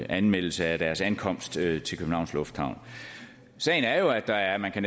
anmeldelse af deres ankomst til københavns lufthavn sagen er jo at der er